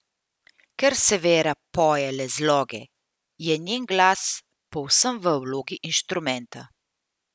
Ker Severa poje le zloge, je njen glas povsem v vlogi inštrumenta.